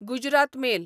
Gujarat mail